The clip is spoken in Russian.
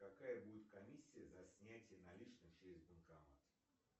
какая будет комиссия за снятие наличных через банкомат